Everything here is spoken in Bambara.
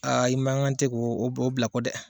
Aa i man kan tɛ k'o bila kɔ dɛ!